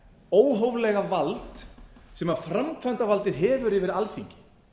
óhóflega vald sem framkvæmdavaldið hefur yfir alþingi